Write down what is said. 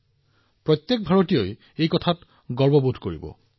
কেৱল সেয়াই নহয় প্ৰতিজন ভাৰতীয়ই গৌৰৱান্বিত হব